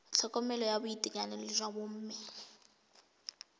tlhokomelo ya boitekanelo jwa bomme